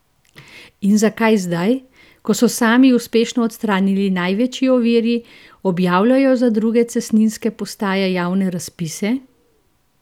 In zakaj zdaj, ko so sami uspešno odstranili največji oviri, objavljajo za druge cestninske postaje javne razpise?